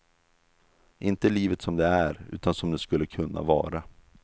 Inte livet som det är, utan som det skulle kunna vara.